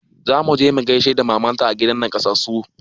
Zamu je mu gaishe da maman ta a gidan nakasassu